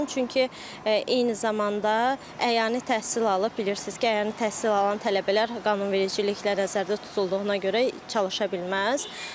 Çünki eyni zamanda əyani təhsil alıb, bilirsiniz ki, əyani təhsil alan tələbələr qanunvericiliklə nəzərdə tutulduğuna görə çalışa bilməz.